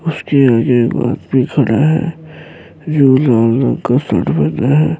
اسکے آگے ایک آدمی کھڈا ہے۔ جو لال رنگ کا شرط پہنا ہے۔